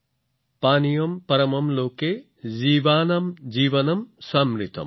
পানীয়ম পৰমম লোকে জীৱানাম জীৱনম সমৃতম